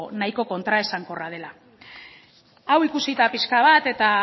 nahiko kontraesankorra dela hau ikusita pixka bat eta